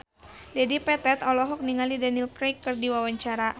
Dedi Petet olohok ningali Daniel Craig keur diwawancara